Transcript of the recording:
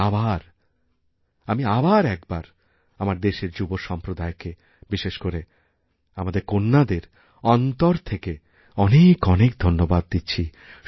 আমি আবারএকবার আমার দেশের যুব সম্প্রদায়কে বিশেষ করে আমাদের কন্যাদের অন্তর থেকে অনেক অনেকধন্যবাদ দিচ্ছি